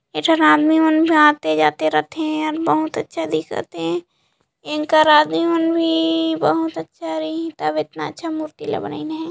ये जोन आदमी मन आते जाते रथे बहुत अच्छा दिखत हे इंकर आदमी मन भी बहुत अच्छा रहीं तब इतना अच्छा मूर्ति ला बनाइन हे।